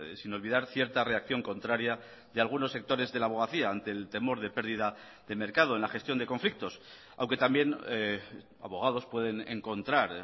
sin olvidar cierta reacción contraria de algunos sectores de la abogacía ante el temor de pérdida de mercado en la gestión de conflictos aunque también abogados pueden encontrar